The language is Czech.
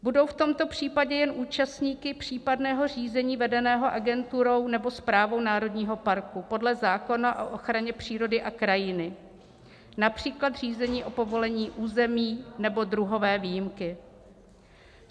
Budou v tomto případě jen účastníky případného řízení vedeného agenturou nebo správou národního parku podle zákona o ochraně přírody a krajiny, například řízení o povolení území nebo druhové výjimky.